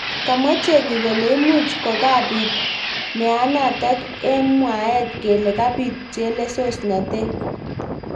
Kamwa chengeik kole imuch kokabit meanatak eng mwaet kele kabit chelesosnotet.